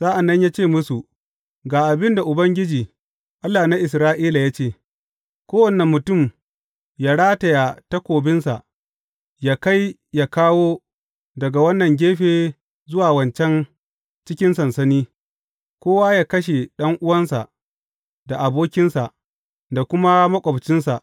Sa’an nan ya ce musu, Ga abin da Ubangiji, Allah na Isra’ila ya ce, Kowane mutum yă rataya takobinsa, yă kai yă kawo daga wannan gefe zuwa wancan cikin sansani, kowa yă kashe ɗan’uwansa, da abokinsa, da kuma maƙwabcinsa.’